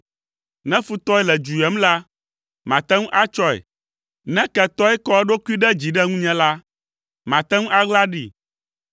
Ne futɔe le dzu yem la, mate ŋu atsɔe; ne ketɔe kɔ eɖokui ɖe dzi ɖe ŋunye la, mate ŋu aɣla ɖee,